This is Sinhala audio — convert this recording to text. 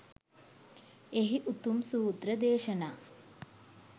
එහි උතුම් සූත්‍ර දේශනා